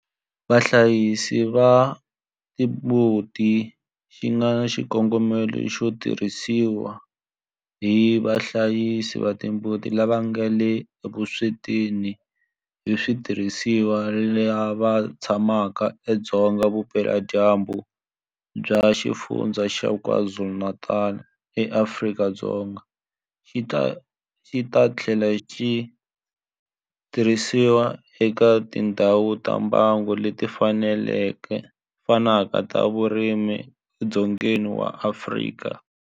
Vahlayisi va timbuti xi nga na xikongomelo xo tirhisiwa hi vahlayisi va timbuti lava nga le vuswetini hi switirhisiwa lava tshamaka edzonga vupeladyambu bya Xifundzha xa KwaZulu-Natal eAfrika-Dzonga, xi ta tlhela xi tirhisiwa eka tindhawu ta mbango leti fanaka ta vurimi edzongeni wa Afrika.